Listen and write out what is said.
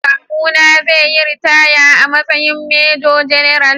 Kawuna zai yi ritaya a matsayin Major-General.